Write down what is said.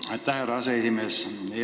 Aitäh, härra aseesimees!